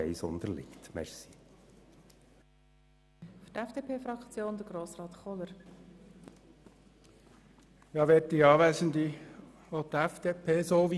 Die Planungserklärung Mentha/Linder/Gygax-Böninger auf Halbierung der Patientenbeteiligung würden wir annehmen, wenn die Planungserklärung 6 unterliegt.